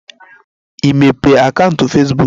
Ị mepee akaụntụ Fesbuk?